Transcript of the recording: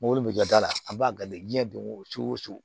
Mobili bɛ jɔ da la a b'a diɲɛ don o cogo